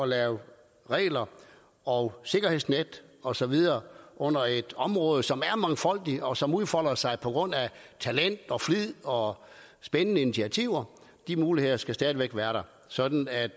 lave regler og sikkerhedsnet og så videre under et område som er mangfoldigt og som udfolder sig på grund af talent og flid og spændende initiativer de muligheder skal stadig væk være der sådan at